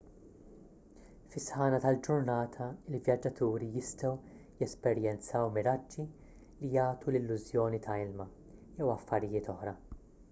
fis-sħana tal-ġurnata il-vjaġġaturi jistgħu jesperjenzaw miraġġi li jagħtu l-illużjoni ta’ ilma jew affarijiet oħra